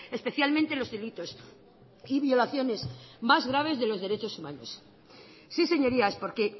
especialmente los delitos y violaciones más graves de los derechos humanos sí señorías porque